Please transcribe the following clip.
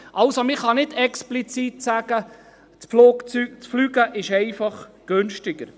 Man kann also nicht explizit sagen, das Fliegen seit günstiger.